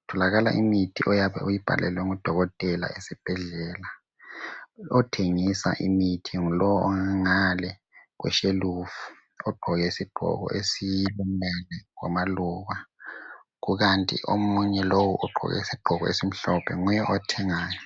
Kutholakala imithi oyabe uyibhalelwe ngu dokotela esibhedlela. Othengisa imithi ngulo ongangale kweshelufu ogqoke isigqoko esilamaluba, kukanti omunye lowu ogqoke isigqoko esimhlophe nguye othengayo.